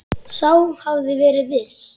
Sá hafði verið viss!